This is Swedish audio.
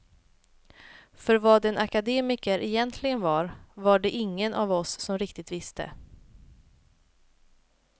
För vad en akademiker egentligen var, var det ingen av oss som riktigt visste.